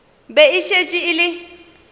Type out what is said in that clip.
be e šetše e le